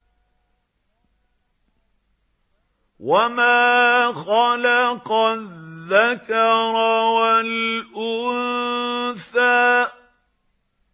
وَمَا خَلَقَ الذَّكَرَ وَالْأُنثَىٰ